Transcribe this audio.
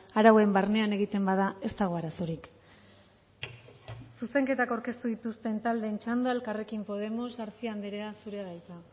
arauen barnean egiten bada ez dago arazorik zuzenketak aurkeztu dituzten taldeen txanda elkarrekin podemos garcía andrea zurea da hitza